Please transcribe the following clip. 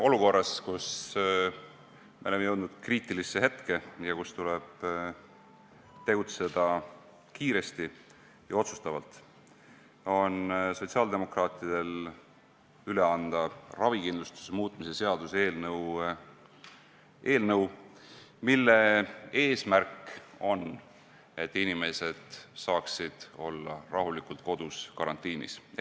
Olukorras, kus me oleme jõudnud kriitilisse seisu ja kus tuleb tegutseda kiiresti ja otsustavalt, on sotsiaaldemokraatidel üle anda ravikindlustuse seaduse muutmise seaduse eelnõu, mille eesmärk on, et inimesed saaksid olla rahulikult kodus karantiinis.